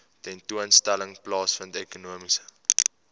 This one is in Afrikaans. tentoonstelling plaasvind ekonomiese